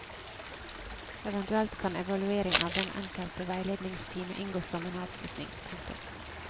Eventuelt kan evaluering av den enkelte veiledningstime inngå som en avslutning. punktum